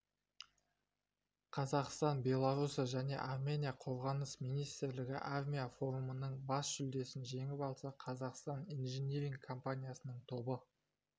қазақстан белоруссия және армения қорғаныс министрлігі армия форумының бас жүлдесін жеңіп алса қазақстан инжиниринг компаниясының тобы